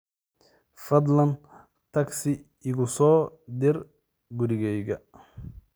fadlan tagsi iigu soo dir gurigayga